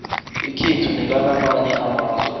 ekhethu nelakamanye amazwe